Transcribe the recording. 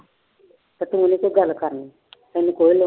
ਪਰ ਤੂੰ ਨੀ ਕੋਈ ਗੱਲ ਕਰਨੀ ਤੈਨੂੰ ਕੋਈ ਲੋੜ